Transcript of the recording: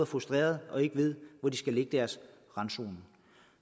frustrerede og ikke ved hvor de skal lægge deres randzoner